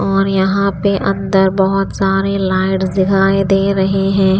और यहाँ पे अंदर बहुत सारी लाइट्स दिखाई दे रही हैं।